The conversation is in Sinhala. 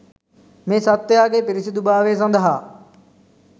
මේ සත්වයාගේ පිරිසිදුභාවය සදහා